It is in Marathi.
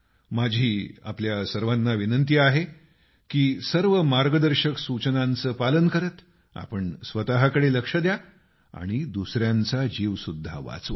माझा आपल्या सर्वांना आग्रह आहे की सर्व मार्गदर्शक सूचनांचं पालन करत आपण स्वतःकडे लक्ष द्या आणि दुसऱ्यांचा जीव सुद्धा वाचवा